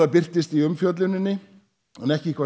birtist í umfjölluninni en ekki hvað